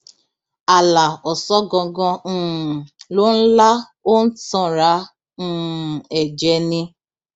àlà ọsángangan um ló ń lá ó ń tanra um ẹ jẹ ni